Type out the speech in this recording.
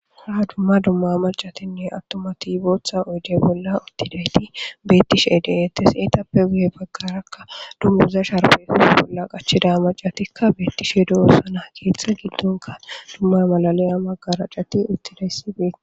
Ha duma duma maccatinne botha oyide bolla utid betishe detesi etappe guye baggara dunuguza sharibbe qachidayisati betishe dossona he ketha giddonika malaliya maccati utidosona